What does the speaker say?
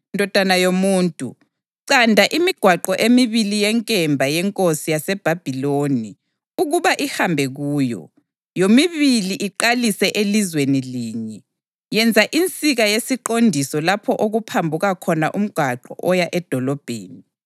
“Ndodana yomuntu, canda imigwaqo emibili yenkemba yenkosi yaseBhabhiloni ukuba ihambe kuyo, yomibili iqalise elizweni linye. Yenza insika yesiqondiso lapho okuphambuka khona umgwaqo oya edolobheni.